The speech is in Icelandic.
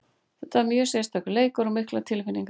Þetta er mjög sérstakur leikur og miklar tilfinningar.